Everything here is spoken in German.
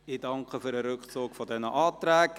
Ich bedanke mich für den Rückzug der Anträge.